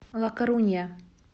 ла корунья